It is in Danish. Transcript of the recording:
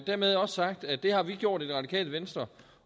dermed også sagt at det har vi gjort i det radikale venstre